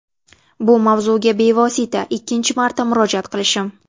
Bu mavzuga bevosita ikkinchi marta murojaat qilishim.